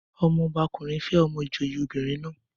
Ọmọ ọba ọkùnrin fẹ́ ọmọ ìjòyè obìnrin naa